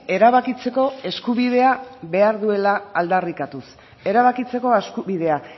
erabakitzeko eskubidea behar duela aldarrikatuz erabakitzeko eskubidea